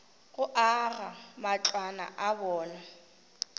go aga matlwana a bona